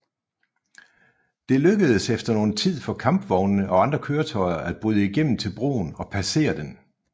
Det lykkedes efter nogen tid for kampvognene og andre køretøjer at bryde igennem til broen og passere den